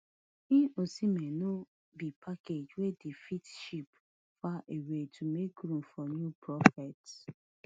im osimhen no be package wey dem fit ship far away to make room for new prophets